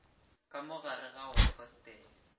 ka mo gare ga hostele